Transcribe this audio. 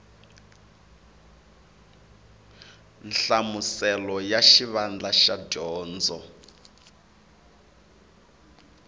nhlamuselo ya xivandla xa dyondzo